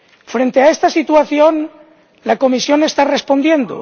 Frente a esta situación, la Comisión está respondiendo.